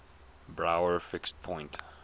brouwer fixed point